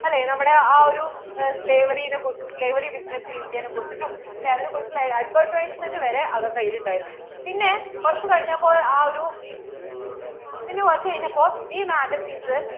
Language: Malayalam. അല്ലേ നമ്മടെ ആ ഒരു slavrey നെ കുറിച്ചിട്ടും slavrey business ല്‍ India നേ കുറിച്ചിട്ടും അല്ലേ അതിനെ കുറിച്ചിട്ടുള്ള advertisement വരെ അവരുടെ കയ്യിൽ ഉണ്ടായിരുന്നു പിന്നേ കുറച്ചു കഴിഞ്ഞപ്പോൾ ആ ഒരു പിന്നേ കുറച്ചു കഴിഞ്ഞപ്പോൾ ഈ magazines